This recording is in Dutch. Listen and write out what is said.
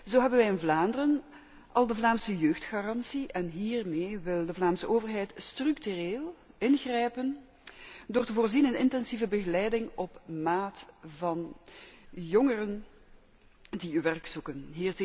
Zo hebben wij in Vlaanderen al de Vlaamse jeugdgarantie, en hiermee wil de Vlaamse overheid structureel ingrijpen door te voorzien in intensieve begeleiding op maat van jongeren die werk zoeken.